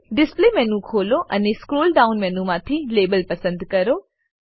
display menu ખોલો અને scroll down મેનુમાંથી લાબેલ પસંદ કરો